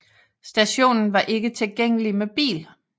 Stationen var ikke tilgængelig med bil